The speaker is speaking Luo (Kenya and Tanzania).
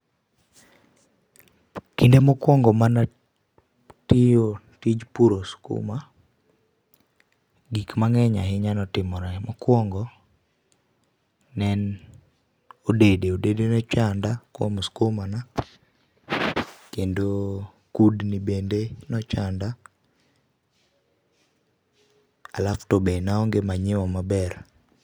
Kinde mokuongo mane atiyo tij puro skuma, gik mangeny ahinya notimore. Mokuongo ne en odede, odede ne ochanda kuom skuma na kendo kudni bende nochanda, alafu tobe naonge manyuwa maber